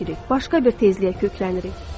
Başqa bir tezliyə köklənirik.